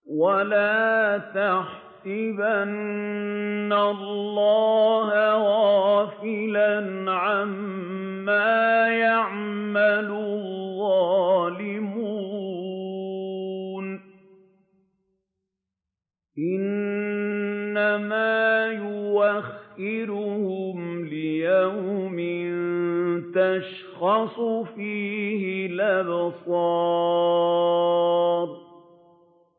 وَلَا تَحْسَبَنَّ اللَّهَ غَافِلًا عَمَّا يَعْمَلُ الظَّالِمُونَ ۚ إِنَّمَا يُؤَخِّرُهُمْ لِيَوْمٍ تَشْخَصُ فِيهِ الْأَبْصَارُ